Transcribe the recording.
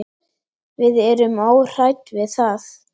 Við erum óhrædd við það.